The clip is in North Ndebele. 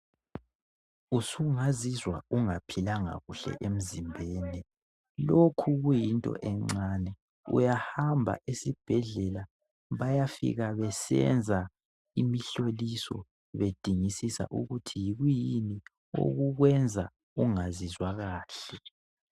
Usungazizwa ungaphilanga kuhle emzimbeni lokhu kuyinto encane uyahamba esibhedlela bayafika besenza imihloliso bedingisisa ukuthi yikuyini okukwenza ungazizwa kahle.